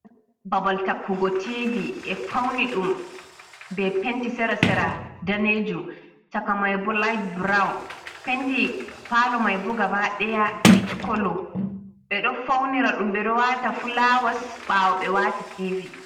Babal takkugo tivi e fauni ɗum ɓe penti sera sera danejum chaka mai bo liht burawun, penti palo mai bo gaba daya pitch kolo ɓe ɗo faunira ɗum ɓeɗo wata fulawas bawo ɓe wati TV.